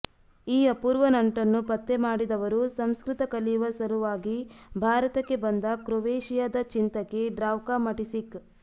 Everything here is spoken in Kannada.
ಈ ಅಪೂರ್ವ ನಂಟನ್ನು ಪತ್ತೆ ಮಾಡಿದವರು ಸಂಸ್ಕೃತ ಕಲಿಯುವ ಸಲುವಾಗಿ ಭಾರತಕ್ಕೆ ಬಂದ ಕ್ರೊವೇಶಿಯಾದ ಚಿಂತಕಿ ಡ್ರಾವ್ಕಾ ಮಟಿಸಿಕ್